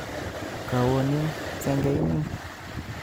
Kawonin senge inin ?